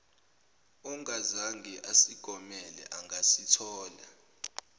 ongazange asigomele angasithola